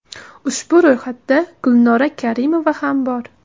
Ushbu ro‘yxatda Gulnora Karimova ham bor.